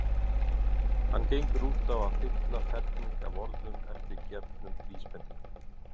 Hann gengur út á að fylla ferning af orðum eftir gefnum vísbendingum.